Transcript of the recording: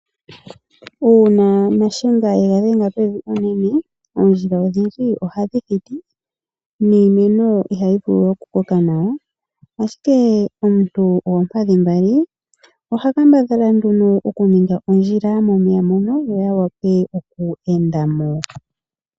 Una naShenga ega dhenga pevi unene oondjila odhindji ohadhi thiti iinimeno ihai vulu oku koka nawa ashike omuntu goompadhi mbali ohaka mbadhala nduno okuninga ondjila opo omeya gawape okweendamo.